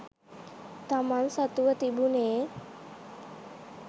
තමන් සතුව තිබුනේ